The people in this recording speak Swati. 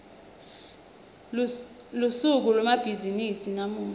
lusuku lwemabhizimisi lamuhla